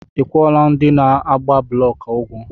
Ị kwụọla ndị na-agba blọk ụgwọ?